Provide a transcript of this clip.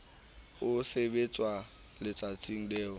e sebetswa letsatsing leo e